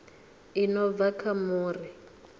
i no bva kha muri